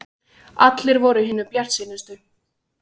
Allir voru hinir bjartsýnustu.